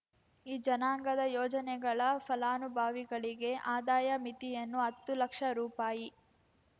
ಈ ಜನಾಂಗದ ಯೋಜನೆಗಳ ಫಲಾನುಭವಿಗಳಿಗೆ ಆದಾಯ ಮಿತಿಯನ್ನು ಹತ್ತು ಲಕ್ಷ ರೂಪಾಯಿ